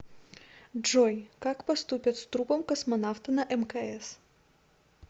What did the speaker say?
джой как поступят с трупом космонавта на мкс